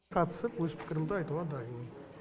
қатысып өз пікірімді айтуға дайынмын